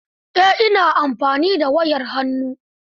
Eh, ina amfani da wayar hannu.